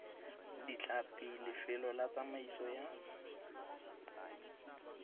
ditlhapi lefelo la tsamaiso ya